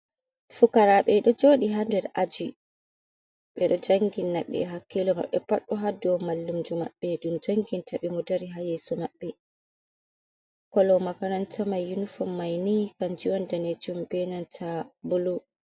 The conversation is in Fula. Pukaraaɓe ɗo jooɗi haa aji ɓe ɗo janginna ɓe hakkiilo maɓɓe pat ɗo haa dow mallumjo maɓɓe, ɗum janginta bee mo dari haa yeeso maɓɓe, kolo makaranta mai yunufon mai nii kanju woni daneejum bee nanta bulu.